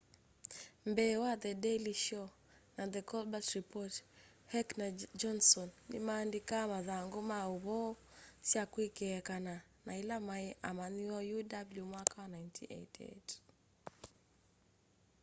mbee wa the daily show na the colbert report heck na johndson ni maandĩkaa mathangũ ma maũvoo sya kwekeekana na ila maĩ amanyĩwa uw mwaka wa 1988